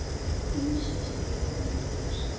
Þín systir Jóna Dísa.